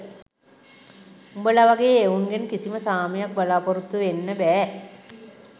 උබල වගේ එවුන්ගෙන් කිසිම සාමයක් බලාපොරොත්තු වෙන්න බෑ